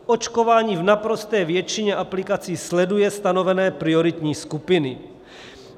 Očkování v naprosté většině aplikací sleduje stanovené prioritní skupiny.